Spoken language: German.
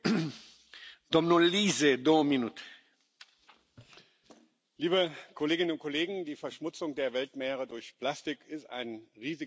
Herr Präsident, liebe Kolleginnen und Kollegen! Die Verschmutzung der Weltmeere durch Plastik ist ein riesiges Problem.